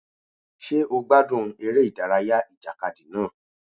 Ṣé ó gbádùn eré ìdárayá ìjàkadì náà?